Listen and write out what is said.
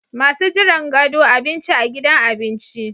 Masu jiran gado Abinci a gidan abinci